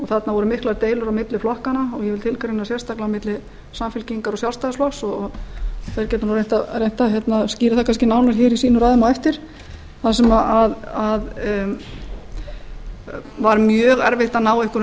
þarna voru miklar deilur á milli flokkanna og ég vil tilgreina sérstaklega á milli samfylkingar og sjálfstæðisflokks og þeir geta reynt að skýra það kannski nánar í sínum ræðum á eftir þar sem var mjög reynt að ná einhverjum